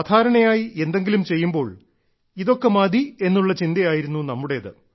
സാധാരണയായി എന്തെങ്കിലും ചെയ്യുമ്പോൾ ഇതൊക്കെ മതി എന്നുള്ള ചിന്തയായിരുന്നു നമ്മുടേത്